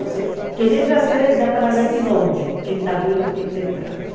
Então, quem entra na cidade dá para ver de longe quem está vindo, quem está entrando.